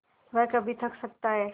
वह कभी थक सकता है